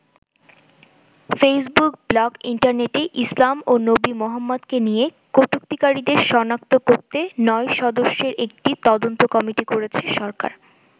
Facebook, blog, ইন্টারনেটে ইসলাম ও নবী মোহাম্মদকে নিয়ে কটুক্তিকারীদের সনাক্ত করতে নয় সদস্যের একটি তদন্ত কমিটি করেছে সরকার।